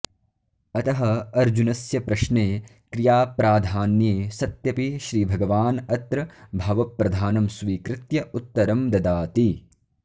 अतः अर्जुनस्य प्रश्ने क्रियाप्राधान्ये सत्यपि श्रीभगवान् अत्र भावप्रधानं स्वीकृत्य उत्तरं ददाति